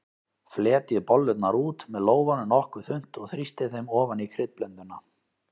Fletjið bollurnar út með lófanum nokkuð þunnt og þrýstið þeim ofan í kryddblönduna.